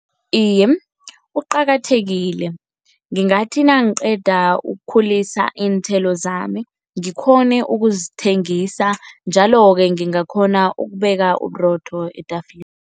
Iye, uqakathekile. Ngingathi nangiqeda ukukhulisa iinthelo zami ngikghone ukuzithengisa njalo-ke ngingakghona ukubeka uburotho